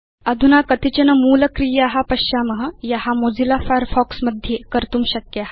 अधुना कतिचन मूलक्रिया पश्याम या मोजिल्ला फायरफॉक्स मध्ये कर्तुं शक्या